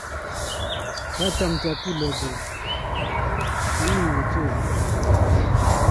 kacham chakulek kuk anyiny wechei